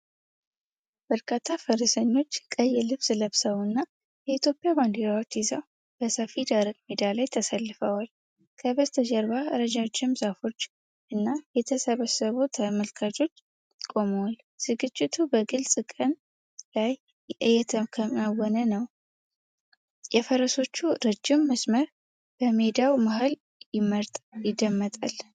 በርካታ ፈረሰኞች ቀይ ልብስ ለብሰው እና የኢትዮጵያን ባንዲራዎች ይዘው በሰፊ ደረቅ ሜዳ ላይ ተሰልፈዋል። ከበስተጀርባ ረጃጅም ዛፎች እና የተሰበሰቡ ተመልካቾች ቆመዋል። ዝግጅቱ በግልጽ ቀን ላይ እየተከናወነ ነው፣ የፈረሶቹ ረጅም መስመር በሜዳው መሃል ይደመጣል።